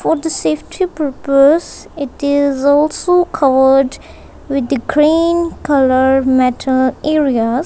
for the safety purpose it is also covered with the green colour metal areas.